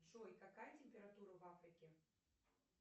джой какая температура в африке